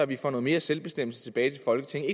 vi får noget mere selvbestemmelse tilbage til folketinget